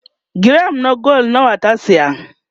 giram na gwal nawa ta saya?